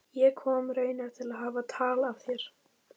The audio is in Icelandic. Ég kom raunar til að hafa tal af þér.